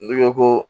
N'i ko ko